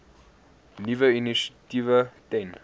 nuwe initiatiewe ten